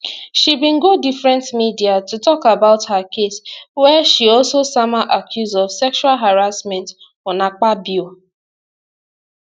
she been go different media to tok about her case wia she also sama accuse of sexual harassment on akpabio